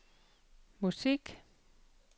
musik